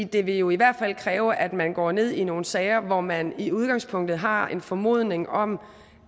det vil jo i hvert fald kræve at man går ned i nogle sager hvor man i udgangspunktet har en formodning om